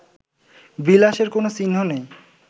বিলাসের কোন চিহ্ন নেই